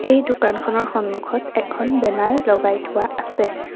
এই দোকানখনৰ সন্মুখত এখন বেনাৰ লগাই থোৱা আছে।